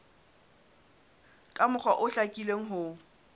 ka mokgwa o hlakileng ho